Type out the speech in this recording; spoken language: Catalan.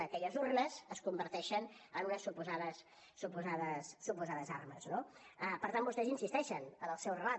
aquelles urnes es converteixen en unes suposades armes no per tant vostès insisteixen en el seu relat